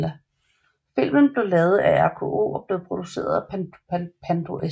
Filmen blev lavet af RKO og blev produceret af Pandro S